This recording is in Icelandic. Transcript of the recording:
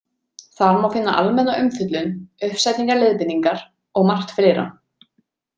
Þar má finna almenna umfjöllun, uppsetningarleiðbeiningar og margt fleira.